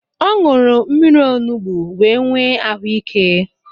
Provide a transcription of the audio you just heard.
Ọ ñụrụ mmírí onugbu wee nwee ahụ ike.